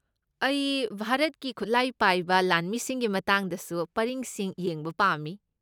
ꯑꯩ ꯚꯥꯔꯠꯀꯤ ꯈꯨꯠꯂꯥꯏ ꯄꯥꯏꯕ ꯂꯥꯟꯃꯤꯁꯤꯡꯒꯤ ꯃꯇꯥꯡꯗꯁꯨ ꯄꯔꯤꯡꯁꯤꯡ ꯌꯦꯡꯕ ꯄꯥꯝꯃꯤ꯫